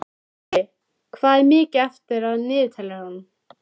Krilli, hvað er mikið eftir af niðurteljaranum?